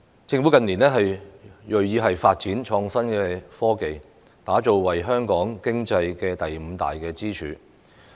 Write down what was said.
政府近年銳意發展創新科技，將其打造為香港經濟第五大支柱。